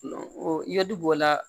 O ye du b'o la